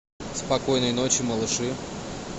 спокойной ночи малыши